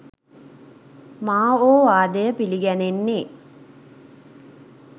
මා ඕ වාදය පිළිගැනෙන්නේ